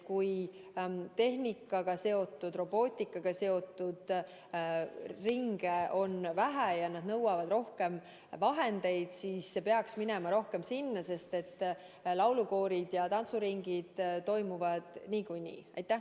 Kui tehnika, sh robootikaga seotud ringe on vähe ja need nõuavad rohkem vahendeid, siis peaks minema rohkem toetust nendele, sest laulukoorid ja tantsuringid toimuvad niikuinii.